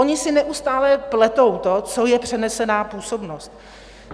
Oni si neustále pletou to, co je přenesená působnost.